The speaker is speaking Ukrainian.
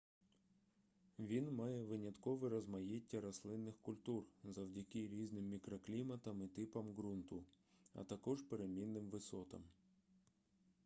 він має виняткове розмаїття рослинних культур завдяки різним мікрокліматам і типам ґрунту а також перемінним висотам